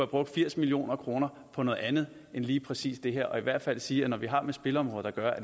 brugt firs million kroner på noget andet end lige præcis det her jeg vil i hvert fald sige at når vi har med spilleområdet at gøre